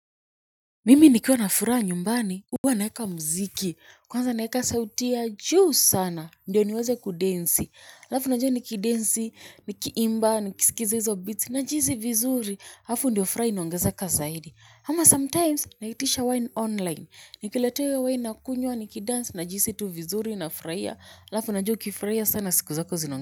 Mimi nikiwa nafuraha nyumbani, huwa naeka mziki, kwanza naeka sauti ya juu sana, ndio niweze kudensi, alafu unajua nikidensi, nikiimba, nikiskiza hizo beats, na jihisi vizuri, hafu ndio furaha inaongeze kazaidi. Ama sometimes, naitisha wine online, nikiletewa hiyo wine na kunywa, nikidansi, na jihisi tu vizuri na furahia, alafu unajua ukifurahia sana siku zako zinao.